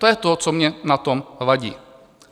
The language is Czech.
To je to, co mně na tom vadí.